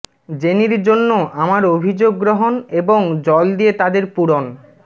জেনির জন্য আমার অভিযোগ গ্রহণ এবং জল দিয়ে তাদের পূরণ